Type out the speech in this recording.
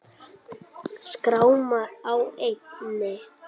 Skráma á enni.